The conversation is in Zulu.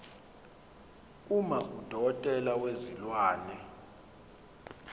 uma udokotela wezilwane